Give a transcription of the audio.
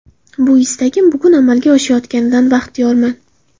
Bu istagim bugun amalga oshayotganidan baxtiyorman.